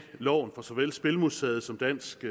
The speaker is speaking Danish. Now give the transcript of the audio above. loven af såvel spilmuseet som dansk